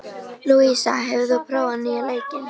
Lúísa, hefur þú prófað nýja leikinn?